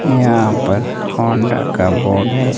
यहां पर होंडा का बोर्ड है।